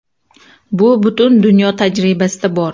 Bu butun dunyo tajribasida bor.